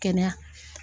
Kɛnɛya